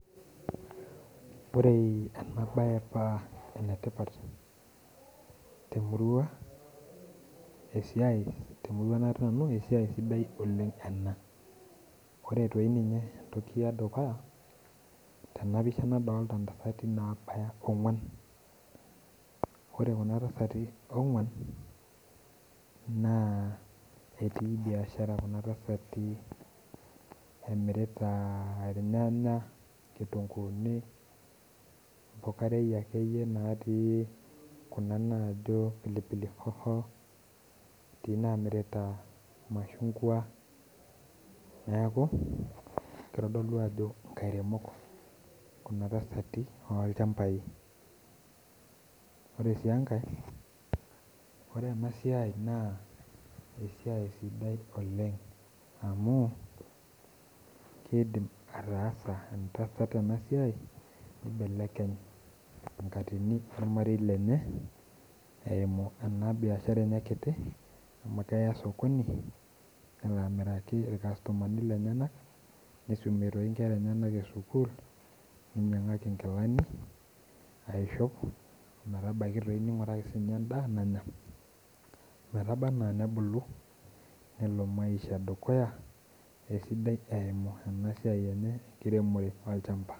Ore enabaye paa enetipa temurua natii nanu esiai sidai ena ore toi Ninye entoki dukuya nadolita intasati nabaya oong'uan ore kuna tasati oong'uan naa etii biashara kuna tasati emirita nkitunkuuni imbukurai ekayie naati kuna naajo pilipili hoho etii inamirita irmashungua neeku keitodolu ajo inkairemok oolchambai ore sii enkae ore ena siai naa esia sidai oleng amu keidim ataasa ena tasat ena siai nkibelekeny enkatini ormarei lenye amu keya sokoni nelo akiraki irkasutumani lenyenyak neinyiangaaki nikilani naishop nelo maisha dukuya esiidai eimu esiai enye enkiremore olchamba